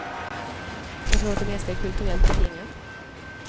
Jag tror att det mesta är kulturellt betingat.